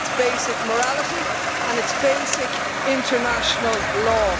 It's basic morality and it's basic international law.